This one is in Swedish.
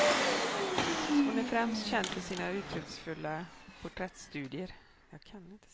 Hon är främst känd för sina uttrycksfulla porträttstudier.